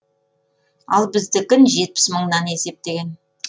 ал біздікін жетпіс мыңнан есептеген